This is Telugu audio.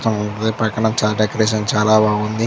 పక్కన డెకరేషన్ చాలా బాగుంది.